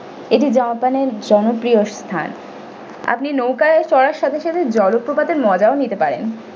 এটি japan এর জনপ্রিয় স্থান আপনি নৌকায় চড়ার সাথে সাথে জলপ্রপাতের মজাও নিতে পারেন।